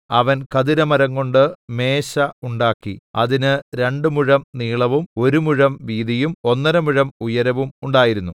അവൻ ഖദിരമരംകൊണ്ട് മേശ ഉണ്ടാക്കി അതിന് രണ്ട് മുഴം നീളവും ഒരു മുഴം വീതിയും ഒന്നര മുഴം ഉയരവും ഉണ്ടായിരുന്നു